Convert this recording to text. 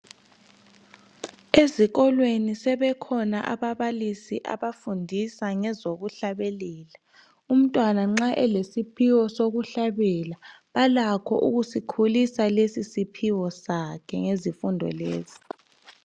Ezikolweni sebekhona ababalisi abafundisa ngezokuhlabelela. Umntwana nxa elesiphiwo sokuhlabela balakho ukusikhulisa lesi isiphiwo sakhe ngezifundo lezi.